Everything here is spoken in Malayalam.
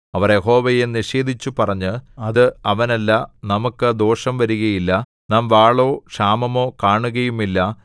അവർ യഹോവയെ നിഷേധിച്ചു പറഞ്ഞത് അത് അവനല്ല നമുക്കു ദോഷം വരുകയില്ല നാം വാളോ ക്ഷാമമോ കാണുകയുമില്ല